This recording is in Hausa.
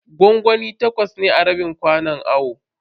Gwangwami takwas ne a rabin kwanon awon.